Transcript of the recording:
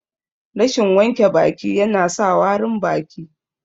Rashin wanke baki ya na sa warin baki